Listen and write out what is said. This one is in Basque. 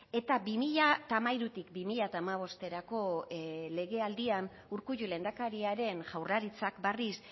eta bi mila hamairutik bi mila hamabosterako legealdian urkullu lehendakariaren jaurlaritzak berriz